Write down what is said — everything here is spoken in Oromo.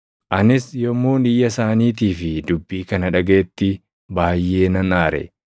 Anis yommuun iyya isaaniitii fi dubbii kana dhagaʼetti baayʼee nan aare.